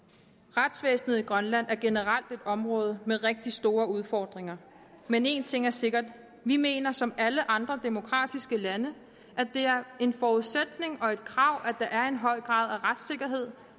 retsvæsenet i grønland er generelt et område med rigtig store udfordringer men en ting er sikkert vi mener som alle andre demokratiske lande at det er en forudsætning og et krav at der er en høj grad af retssikkerhed